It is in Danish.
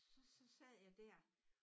Så så sad jeg dér